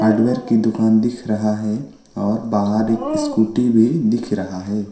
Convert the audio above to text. की दुकान दिख रहा है और बाहर एक स्कूटी भी दिख रहा है।